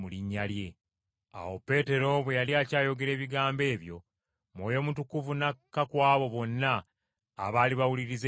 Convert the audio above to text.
Awo Peetero bwe yali akyayogera ebigambo ebyo, Mwoyo Mutukuvu n’akka ku abo bonna abali bawuliriza ekigambo!